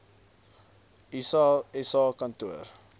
iss sa kantoor